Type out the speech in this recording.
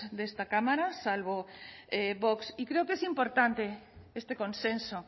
de esta cámara salvo vox y creo que es importante este consenso